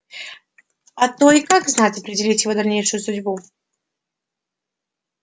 а то и как знать определить его дальнейшую судьбу